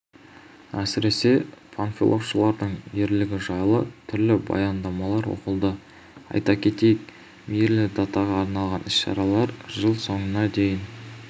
әсіресе панфиловшылардың ерлігі жайлы түрлі баяндамалар оқылды айта кетейік мерейлі датаға арналған іс-шаралар жыл соңына дейін